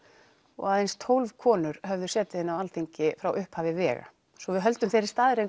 og aðeins tólf konur höfðu setið inni á þingi frá upphafi vega svo við höldum þeirri staðreynd